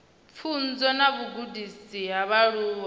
pfunzo na vhugudisi ha vhaaluwa